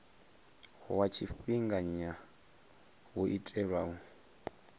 wa tshifhinganya wo itelwa u